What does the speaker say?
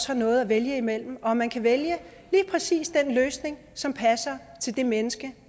har noget at vælge imellem og at man kan vælge lige præcis den løsning som passer til det menneske